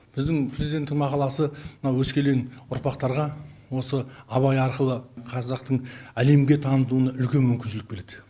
біздің президенттің мақаласы мына өскелең ұрпақтарға осы абай арқылы қазақтың әлемге танытылуына үлкен мүмкіншілік береді